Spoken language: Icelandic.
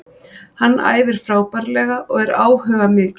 Hann æfir frábærlega og er áhugamikill.